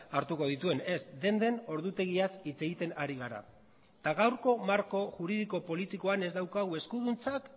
hartuko dituen ez denden ordutegiaz hitz egiten ari gara eta gaurko marko juridiko politikoan ez daukagu eskuduntzak